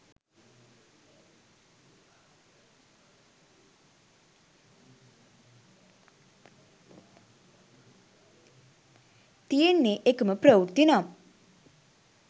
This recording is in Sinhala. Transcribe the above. තියෙන්නෙ එකම ප්‍රවෘත්තිනම්